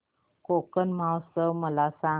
कोकण महोत्सव मला सांग